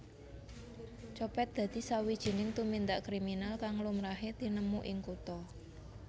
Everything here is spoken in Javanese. Copet dadi sawijining tumindak kriminal kang lumrahe tinemu ing kutha